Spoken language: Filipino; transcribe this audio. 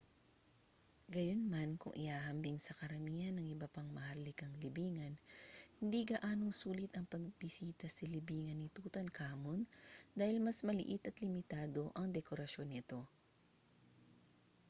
gayunman kung ihahambing sa karamihan ng iba pang maharlikang libingan hindi gaanong sulit ang pagbisita sa libingan ni tutankhamun dahil mas maliit at limitado ang dekorasyon nito